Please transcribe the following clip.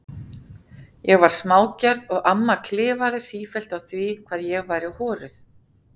Ég var smágerð og amma klifaði sífellt á því hvað ég væri horuð.